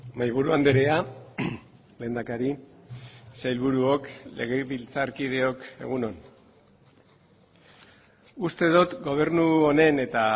mahai buru andrea lehendakari sailburuok legebiltzarkideok egun on uste dut gobernu honen eta